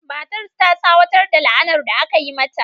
Matar ta tsawatar da la'anar da aka yi mata.